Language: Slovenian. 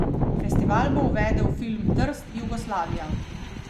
Festival bo uvedel film Trst, Jugoslavija.